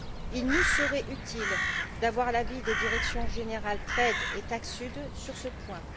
Il nous serait utile d'avoir l'avis des directions générales TRADE et TAXUD sur ce point.